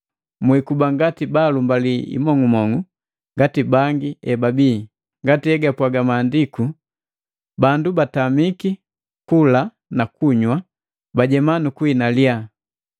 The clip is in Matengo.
Mwikuba ngati baalumbali imong'umong'u ngati bangi ebabii, ngati egapwaga maandiku, “Bandu batamiki kula na kunywa, bajema nukuhina liyaha.”